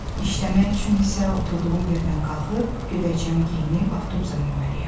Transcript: İşləmək üçün isə oturduğum yerdən qalxıb, gödəkcəmi geyinib, avtobusa minməliyəm.